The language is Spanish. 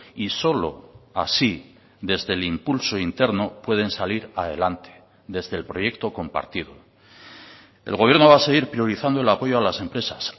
y solo así desde el impulso interno pueden salir adelante desde el proyecto compartido el gobierno va a seguir priorizando el apoyo a las empresas